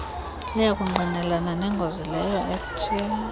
luyakungqinelana nengozi leyoethe